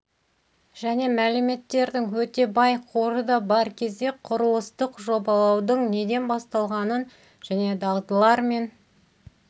және мәліметтердің өте бай қоры да бар кезде құрылыстық жобалаудың неден басталғанын және дағдылар мен